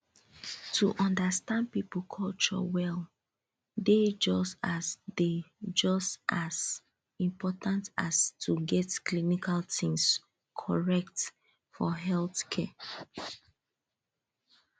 to understand people culture well dey just as dey just as important as to get clinical things correct for healthcare